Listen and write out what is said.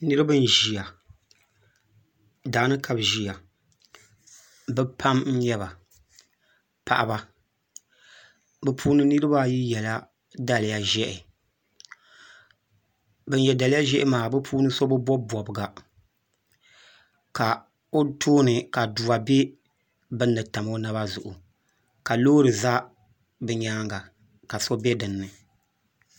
Niraba n ʒiya daani ka bi ʒiya bi pam n nyɛba paɣaba bi puuni niraba ayi yɛla daliya ʒiɛhi bin yɛ daliyq ʒiɛhi maa bi puuni so bi bob bobga ka o tooni ka aduwa bɛ bunni n tam o naba zuɣu ka loori ʒɛ bi nyaanga ka so bɛ dinni